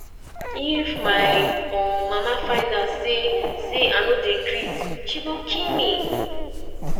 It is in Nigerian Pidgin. if my um mama find out say say i no dey greet she go kill me